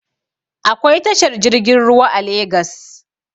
Akwai tashar jirgin ruwa a legas